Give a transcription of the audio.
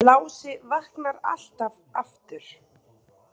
Hann Lási vaknar alltaf aftur.